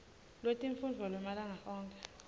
lwetifundvo lwemalanga onkhe